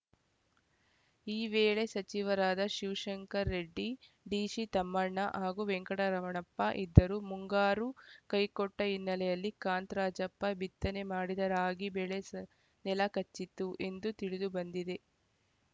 ಈ ವೇಳೆ ಸಚಿವರಾದ ಶಿವಶಂಕರ ರೆಡ್ಡಿ ಡಿಸಿತಮ್ಮಣ್ಣ ಹಾಗೂ ವೆಂಕಟರಮಣಪ್ಪ ಇದ್ದರು ಮುಂಗಾರು ಕೈಕೊಟ್ಟಹಿನ್ನೆಲೆಯಲ್ಲಿ ಕಾಂತರಾಜಪ್ಪ ಬಿತ್ತನೆ ಮಾಡಿದ ರಾಗಿ ಬೆಳೆ ಸ ನೆಲ ಕಚ್ಚಿತ್ತು ಎಂದು ತಿಳಿದುಬಂದಿದೆ